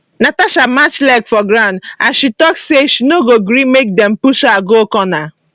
natasha match leg for ground as she tok say she no go gree make dem push her go corner